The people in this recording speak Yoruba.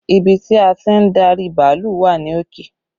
Ibi tí a ti ń darí bàálù wà ní òkè